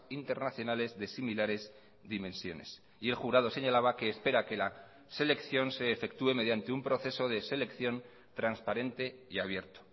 internacionales de similares dimensiones y el jurado señalaba que espera que la selección se efectué mediante un proceso de selección transparente y abierto